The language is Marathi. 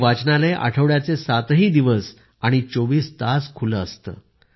हे वाचनालय आठवड्याचे सातही दिवस आणि चोविस तास खुलं असतं